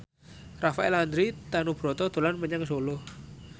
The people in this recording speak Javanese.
Rafael Landry Tanubrata dolan menyang Solo